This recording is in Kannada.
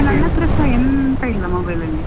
ಈಗ ನನ್ ಹತ್ರ ಸಾ ಎಂತಾ ಇಲ್ಲ mobile ಅಲ್ಲಿ.